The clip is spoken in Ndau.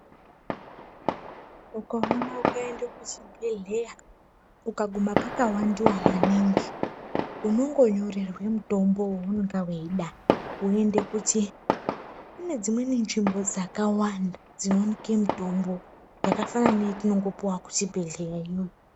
Ukaona ukaende kuchibhedhleya ukaguma pakawandiwa maningi unongonyorerwe mutombowo weunonga weida kune dzimweni nzvimbo dzakawanda dzinooneke mitombo yakafanana neyetinongopuwa kuzvibhedhlerayo.